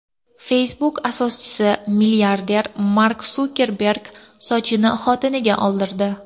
Facebook asoschisi, milliarder Mark Sukerberg sochini xotiniga oldirdi .